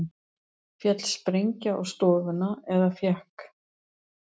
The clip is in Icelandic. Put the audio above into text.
Féll sprengja á stofuna eða fékk